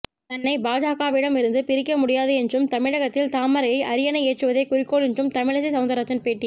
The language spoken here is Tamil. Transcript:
தன்னை பாஜகவிடம் இருந்து பிரிக்க முடியாது என்றும் தமிழகத்தில் தாமரையை அரியணை ஏற்றுவதே குறிக்கோள் என்றும் தமிழிசை சவுந்தரராஜன் பேட்டி